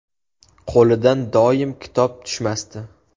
Qo‘lidan doim kitob tushmasdi.